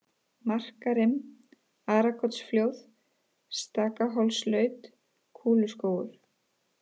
Markarim, Arakotsflóð, Stakahólslaut, Kúluskógur